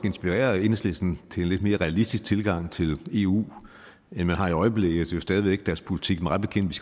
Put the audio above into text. inspirere enhedslisten til en lidt mere realistisk tilgang til eu end man har i øjeblikket jo stadig væk deres politik mig bekendt